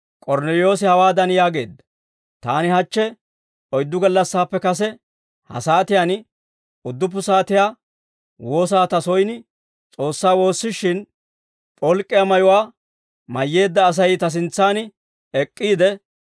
K'ornneliyoosi hawaadan yaageedda; «Taani hachche oyddu gallassaappe kase ha saatiyaan udduppu saatiyaa woosaa ta soyin S'oossaa woossishin, p'olk'k'iyaa mayuwaa mayyeedda Asay ta sintsaan ek'k'iide,